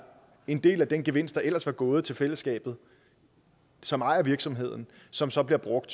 en del af den gevinst der ellers var gået til fællesskabet som ejer virksomheden som så bliver brugt